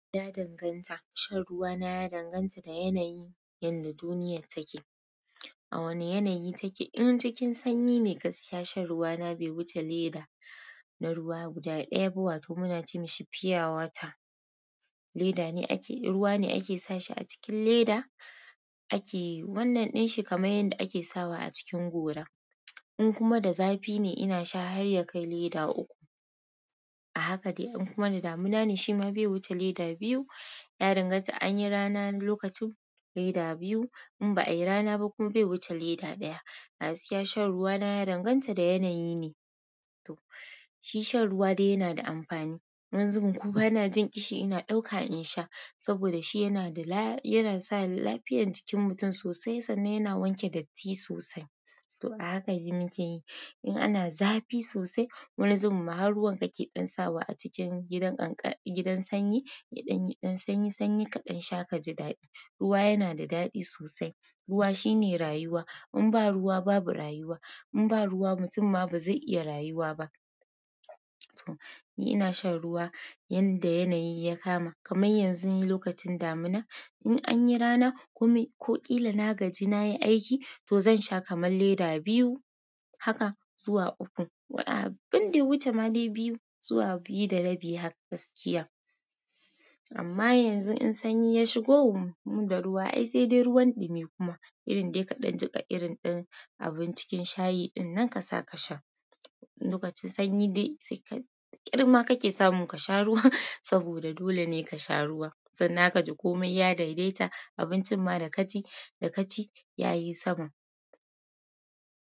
Ya danganta. Shan ruwa na ya danganta da yanayin yadda duniyar take. A wane yanayi take? In cikin sanyi ne gaskiya shan ruwa na bai wuce leda na ruwa guda ɗaya ba wato muna cewa shi fiyawata. Leda ne ake, ruwa ne ake sa shi a cikin leda ake, wannan ɗin shi kamar yadda ake sawa a cikin gora. In kuma da zafi ne inasha har yakai leda uku a haka dai. In kuma da damuna ne shi ma bai wuce leda biyu. Ya danganta anyi rana lokacin leda biyu in ba'a yi rana ba kuma bai wuce leda ɗaya. Gaskiya shan ruwa na ya danganta da yanayi ne. To, shi shan ruwa dai yana da amfani wani zubin kuma bana jin kishi ina ɗauka in sha saboda shi yana da la, yana sa lafiyan jikin mutum sosai sannan yana wanke datti sosai. To a haka dai muke yi. In ana zafi sosai, wani zubin ma har ruwan kake ɗan sawa a cikin gidan ƙanƙara, gidan sanyi, yaɗanyi ɗan sanyi sanyi kaɗan sha kaji daɗi. Ruwa yana da daɗi sosai. Ruwa shine rayuwa. In ba ruwa babu rayuwa. In ba ruwa mutum ma ba zai iya rayuwa ba. To, ni ina shan ruwa yanda yanayi ya kama. Kamar yanzu ni lokacin damuna. In an yi rana kome ko ƙila na gaji na yi aiki to zan sha kamar leda biyu haka zuwa uku. Abinda ya wuce ma dai biyu zuwa biyu da rabi haka gaskiya amma yanzu in sanyi ya shigo, mu da ruwa ai sai dai ruwan ɗumi kuma irin dai kaɗan jiƙa irin ɗin abun cikin shayi dinnan ka sa ka sha. Lokacin sanyi dai ƙirma kake samun ka sha ruwa saboda dole ne ka sha ruwa. Sannan ka ji komai ya daidaita abincin ma da kaci, da kaci ya yi sama.